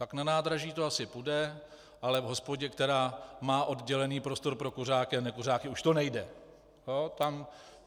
Tak na nádraží to asi půjde, ale v hospodě, která má oddělený prostor pro kuřáky a nekuřáky už to nejde.